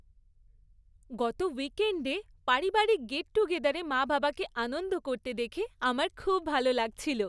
গত উইকেণ্ডে পারিবারিক গেট টুগেদারে মা বাবাকে আনন্দ করতে দেখে আমার খুব ভালো লাগছিল।